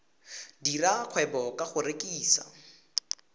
dira kgwebo ka go rekisa